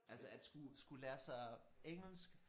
Altså at skulle skulle lære sig engelsk